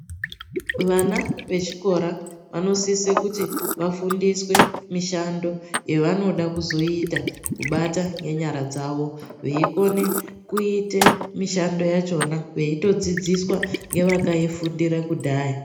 Vana vechikora vanosise kuti vafundiswe mushando yavanode kuzoita kubata ngenyara dzawo veikone kuite mishando yachona veitodzidziswa ngevakaifundira kudhaya.